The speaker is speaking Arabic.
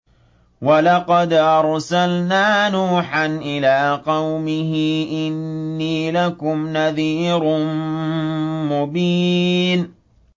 وَلَقَدْ أَرْسَلْنَا نُوحًا إِلَىٰ قَوْمِهِ إِنِّي لَكُمْ نَذِيرٌ مُّبِينٌ